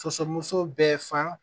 Soso muso bɛɛ fa